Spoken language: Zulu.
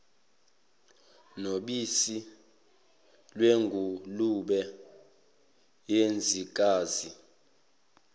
nobisi lwengulube yensikazi